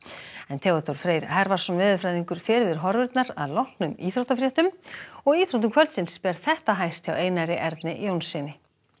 Theodór Freyr veðurfræðingur fer yfir horfurnar að loknum íþróttafréttum og í íþróttum kvöldsins ber þetta hæst hjá Einari Erni Jónssyni